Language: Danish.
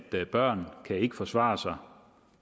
børn ikke kan forsvare sig